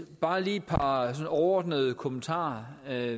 bare lige et par overordnede kommentarer der er